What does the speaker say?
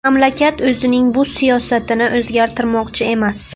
Mamlakat o‘zining bu siyosatini o‘zgartirmoqchi emas.